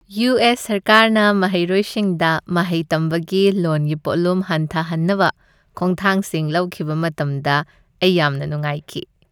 U. S. ꯁꯔꯀꯥꯔꯅ ꯃꯍꯩꯔꯣꯏꯁꯤꯡꯗ ꯃꯍꯩ ꯇꯝꯕꯒꯤ ꯂꯣꯟꯒꯤ ꯄꯣꯠꯂꯨꯝ ꯍꯟꯊꯍꯟꯅꯕ ꯈꯣꯡꯊꯥꯡꯁꯤꯡ ꯂꯧꯈꯤꯕ ꯃꯇꯝꯗ ꯑꯩ ꯌꯥꯝꯅ ꯅꯨꯡꯉꯥꯏꯈꯤ꯫